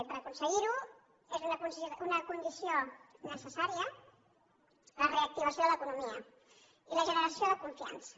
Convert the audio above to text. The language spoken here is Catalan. i per aconseguir ho és una condició necessària la reactivació de l’economia i la generació de confiança